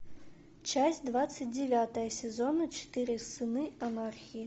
часть двадцать девятая сезона четыре сыны анархии